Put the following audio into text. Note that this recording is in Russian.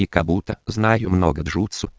как будто знаю много